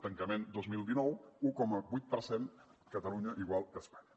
tancament dos mil dinou un coma vuit per cent catalunya igual que espanya